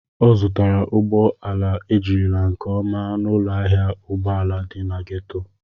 Ọ zụtara ụgbọ ala ejirila nke ọma n'ụlọ ahịa ụgbọ ala dị na gétò